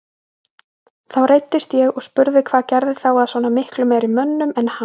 Þá reiddist ég og spurði hvað gerði þá að svona miklu meiri mönnum en hann.